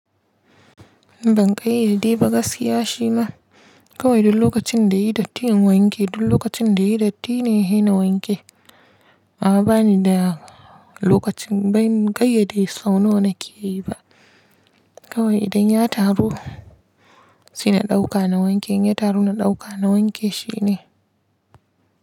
Ban kayyade ba gaskiya shi ma kawai du lokacin da yayi datti in wanke du lokacin da yayi datti ne he na wanke. A'a bani da lokacin ban gayyade sau nawa na ke yi ba. Kawai idan ya taru sai na ɗauka na wanke, in ya taru na ɗauka na wanke shi ne.